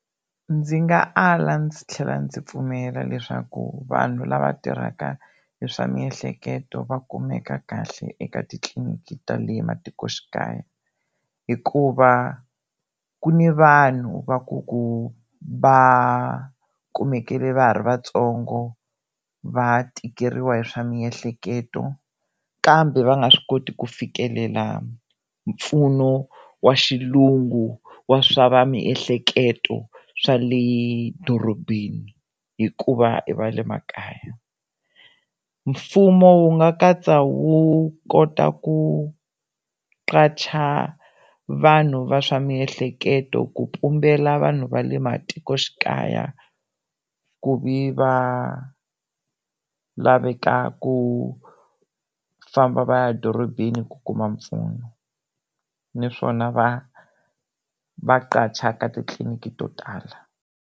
Ndzi nga ala ndzi tlhela ndzi pfumela leswaku vanhu lava tirhaka hi swa miehleketo va kumeka kahle eka titliliniki ta le matikoxikaya hikuva ku ni vanhu va ku ku va kumekile va ha ri vatsongo va tikeriwa hi swa miehleketo kambe va nga swi koti ku fikelela mpfuno wa xilungu wa swa va miehleketo swa le dorobeni hikuva i va le makaya, mfumo wu nga katsa wu kota ku qacha vanhu va swa miehleketo ku pumbela vanhu va le matikoxikaya ku vi va laveka ku famba va ya dorobeni ku kuma mpfuno naswona va va qacha ka titliliniki to tala.